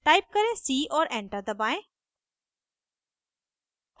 type करें c और enter दबाएं